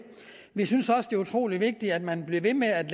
vi synes også det er utrolig vigtigt at man bliver ved med at